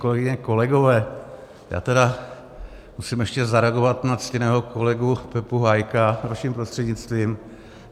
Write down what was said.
Kolegyně, kolegové, já tedy musím ještě zareagovat na ctěného kolegu Pepu Hájka vaším prostřednictvím.